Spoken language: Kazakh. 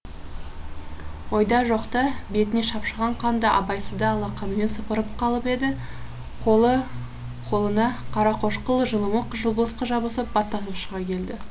ойда жоқта бетіне шапшыған қанды абайсызда алақанымен сыпырып қалып еді қолына қарақошқыл жылымық жылбысқы жабысып баттасып шыға келді